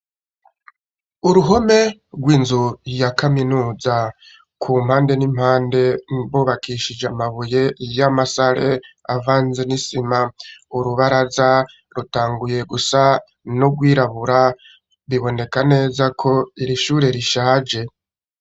Uruhome, rw'inzu ,ya kaminuza, ku mpande n'impande ,hubakishije Amabuye y'amasale, avanze n'isima, urubaraza rutanguye gusa nu gwirabura, biboneka neza ko, iri shure rishaje.